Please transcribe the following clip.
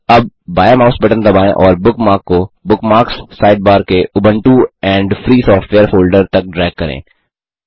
अब बायाँ mouse button दबाएँ और बुकमार्क को बुकमार्क्स साइडबार के Ubuntu and free software folder तक ड्रैग करें